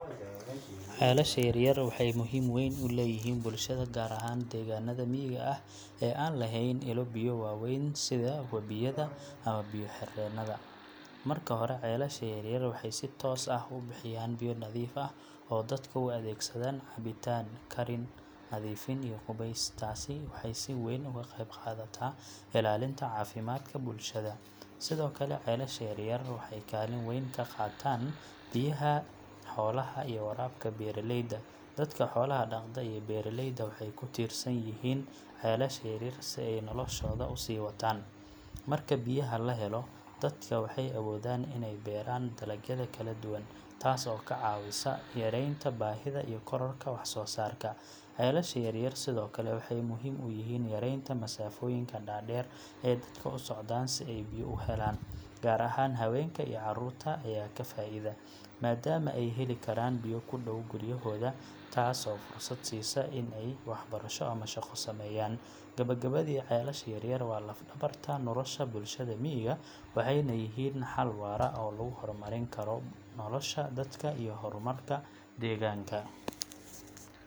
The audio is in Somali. Ceelasha yaryar waxay muhiim weyn u leeyihiin bulshada, gaar ahaan deegaanada miyiga ah ee aan lahayn ilo biyo waaweyn sida webiyada ama biyo-xireenada. Marka hore, ceelasha yaryar waxay si toos ah u bixiyaan biyo nadiif ah oo dadka u adeegsadaan cabitaan, karin, nadiifin iyo qubays. Taasi waxay si weyn uga qeyb qaadata ilaalinta caafimaadka bulshada. Sidoo kale, ceelasha yaryar waxay kaalin weyn ka qaataan biyaha xoolaha iyo waraabka beeralayda. Dadka xoolaha dhaqda iyo beeraleyda waxay ku tiirsan yihiin ceelasha yaryar si ay noloshooda u sii wataan. Marka biyaha la helo, dadka waxay awoodaan inay beeraan dalagyada kala duwan, taas oo ka caawisa yaraynta baahida iyo kororka wax-soosaarka. Ceelasha yaryar sidoo kale waxay muhiim u yihiin yareynta masaafooyinka dhaadheer ee dadka u socdaan si ay biyo u helaan. Gaar ahaan haweenka iyo carruurta ayaa ka faa'iida, maadaama ay heli karaan biyo ku dhow guryahooda, taas oo fursad siisa in ay waxbarasho ama shaqo sameeyaan. Gabagabadii, ceelasha yaryar waa laf-dhabarta nolosha bulshada miyiga, waxayna yihiin xal waara oo lagu hormarin karo nolosha dadka iyo horumarka deegaanka.